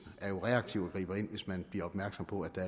er jo reaktiv og griber ind hvis man bliver opmærksom på at der